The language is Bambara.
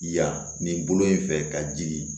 Yan nin bolo in fɛ ka jigin